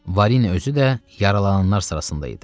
Varini özü də yaralananlar sırasında idi.